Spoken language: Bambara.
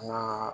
Maa